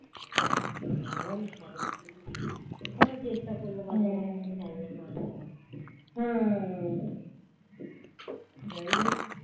বাঁচানো গেল না অনেক চেষ্টা করলো পারলো না যাই হোক